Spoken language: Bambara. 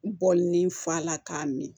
Bɔlɔn ni fa la k'a min